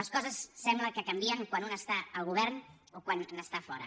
les coses sembla que canvien quan un està al govern o quan n’està fora